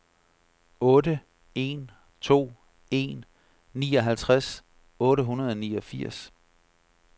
otte en to en nioghalvtreds otte hundrede og niogfirs